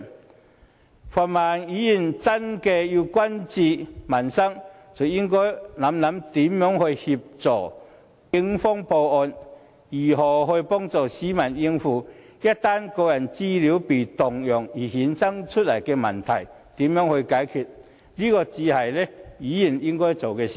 如果泛民議員真的關注民生，便應思考如何協助警方破案，如何幫助市民應對一旦個人資料被盜用而衍生出來的問題，這才是議員應做的事。